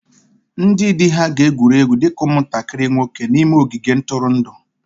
Ndị di ha ga-egwuri egwu dị ka ụmụntakịrị nwoke n'ime ogige ntụrụndụ